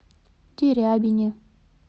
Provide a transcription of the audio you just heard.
дерябине